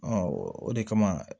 o de kama